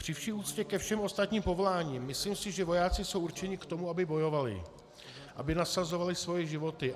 Při vší úctě ke všem ostatním povoláním si myslím, že vojáci jsou určeni k tomu, aby bojovali, aby nasazovali svoje životy.